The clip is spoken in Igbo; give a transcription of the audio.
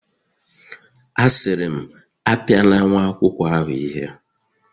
Asiri m, Apiala nwa akwukwo ahu ihe